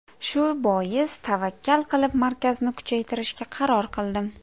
Shu bois tavakkal qilib markazni kuchaytirishga qaror qildim.